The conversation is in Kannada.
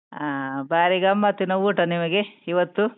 ಹಾ ಬಾರಿ ಗಮ್ಮತ್ತಿನ ಊಟ ನಿಮಗೆ, ಇವತ್ತು.